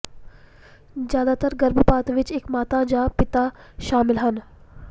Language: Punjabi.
ਜ਼ਿਆਦਾਤਰ ਗਰਭਪਾਤ ਵਿੱਚ ਇੱਕ ਮਾਤਾ ਜਾਂ ਪਿਤਾ ਸ਼ਾਮਿਲ ਹਨ